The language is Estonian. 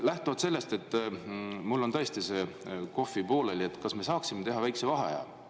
Lähtuvalt sellest, et mul on tõesti kohvi joomine pooleli, kas me saaksime teha väikese vaheaja?